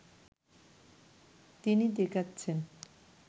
তিনি দেখাচ্ছেন